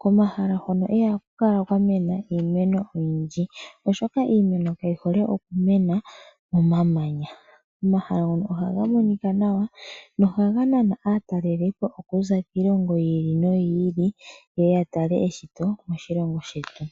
Komahala hono ihaku kala kwa mena iimeno oyindji, oshoka iimeno kayi hole oku mena momamanya. Omahala ngono ohaga monika nawa nohaga nana aatalelipo okuza kiilongo yi ili noyi ye ye ya tale eshito moshilongoshetu.